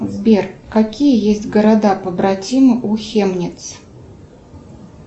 сбер какие есть города побратимы у хемниц